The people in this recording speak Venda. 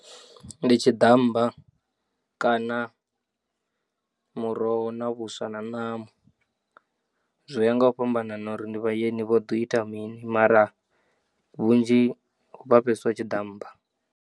Ndi tshiḓammba kana muroho na vhuswa na ṋama, zwi ya nga u fhambanana uri ndi vhaeni vho ḓo ita mini mara vhunzhi ha vha fheswa tshiḓammba.